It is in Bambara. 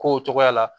K'o cogoya la